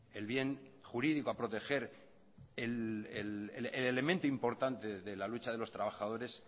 el bien jurídico a proteger el elemento importante de la lucha de los trabajadores